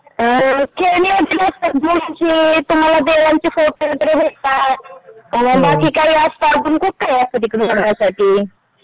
अ खेळणी वगैरे असतात मुलांची तुम्हाला देवांचे फोटो वगैरे भेटतात बाकी काय असतात आणि खूप काही असतं तिकडे बघण्यासाठी.